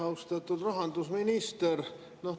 Austatud rahandusminister!